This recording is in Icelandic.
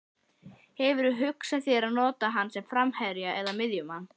Hefurðu hugsað þér að nota hann sem framherja eða miðjumann?